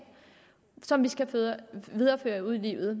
som vi skal føre videre ud i livet